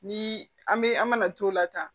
Ni an bɛ an mana t'o la tan